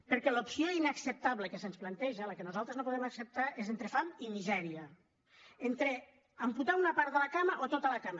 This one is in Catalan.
perquè l’opció inacceptable que se’ns planteja la que nosaltres no podem acceptar és entre fam i misèria entre amputar una part de la cama o tota la cama